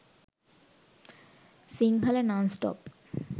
sinhala nonstop